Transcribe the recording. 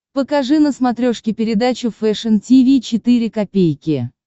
покажи на смотрешке передачу фэшн ти ви четыре ка